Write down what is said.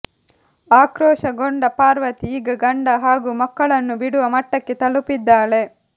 ಆಕ್ರೋಶಗೊಂಡ ಪಾರ್ವತಿ ಈಗ ಗಂಡ ಹಾಗೂ ಮಕ್ಕಳನ್ನು ಬಿಡುವ ಮಟ್ಟಕ್ಕೆ ತಲುಪಿದ್ದಾಳೆ